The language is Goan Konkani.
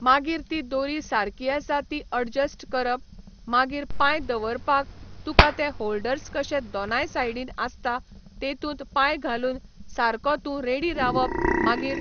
मागीर ती दोरी सारकी आसा ती अडजस्ट करप मागीर पांय दवरपाक तुका ते होल्डर्स कशें दोनाय सायडीन आसता तेतुंत पांय घालून सारको तूं रेडी रावप मागीर